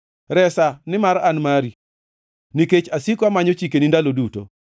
Resa nimar an mari; nikech asiko amanyo chikeni ndalo duto.